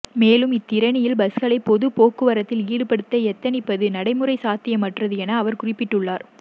மேலும் இலத்திரனியல் பஸ்களை பொதுப் போக்குவரத்தில் ஈடுபடுத்த எத்தனிப்பது நடைமுறைச்சாத்தியமற்றது என அவர் குறிப்பிட்டுள்ளார்